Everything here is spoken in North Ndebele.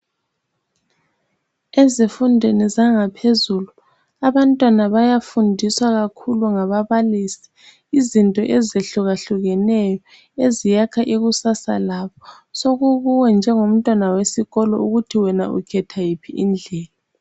Ezifundweni zangaphezulu abantwana bayafundiswa kakhulu ngababalisi izinto ezehlukehlukeneyo eziyakha ikusasa labo. Sokukuwe njengo mntwana wesikolo khona ukuthi ukhetha iphi indlela.